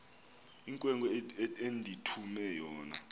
inkwenkwe endithume yona